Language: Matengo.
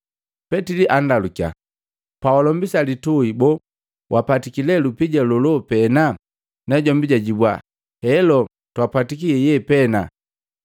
Petili anndalukya, “Pawalombisa litui boo wapatiki le lupija lolo pena?” Najombi jajibwa, “Heelo, twapatiki yeye pena.”